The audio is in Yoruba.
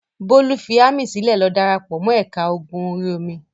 Bólú fi ámì sílẹ̀ lọ dára pọ̀ mọ́ ẹ̀ka ogun orí-omi.